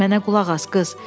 Mənə qulaq as, qız.